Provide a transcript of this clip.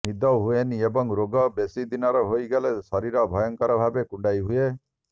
ନିଦ ହୁଏନି ଏବଂ ରୋଗ ବେଶୀଦିନର ହୋଇଗଲେ ଶରୀର ଭୟଙ୍କର ଭାବେ କୁଣ୍ଡାଇ ହୁଏ